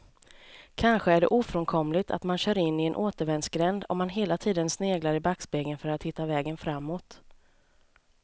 Kanske är det ofrånkomligt att man kör in i en återvändsgränd om man hela tiden sneglar i backspegeln för att hitta vägen framåt.